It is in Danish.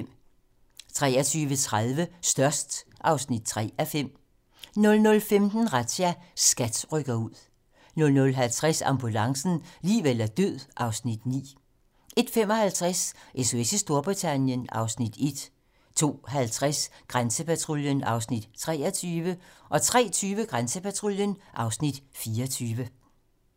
23:30: Størst (3:5) 00:15: Razzia - SKAT rykker ud 00:50: Ambulancen - liv eller død (Afs. 9) 01:55: SOS i Storbritannien (Afs. 1) 02:50: Grænsepatruljen (Afs. 23) 03:20: Grænsepatruljen (Afs. 24)